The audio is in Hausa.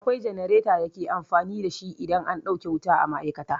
Akwai jenareta da ake amfani da shi idan an ɗauke wuta a ma'aikata.